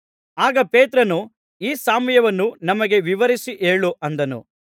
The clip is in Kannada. ಆಗ ಪೇತ್ರನು ಈ ಸಾಮ್ಯವನ್ನು ನಮಗೆ ವಿವರಿಸಿ ಹೇಳು ಅಂದನು